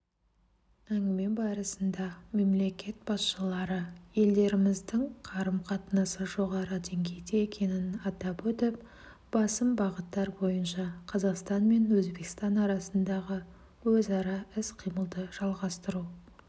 әңгіме барысында мемлекет басшылары елдеріміздің қарым-қатынасы жоғары деңгейде екенін атап өтіп басым бағыттар бойынша қазақстан мен өзбекстан арасындағы өзара іс-қимылды жалғастыру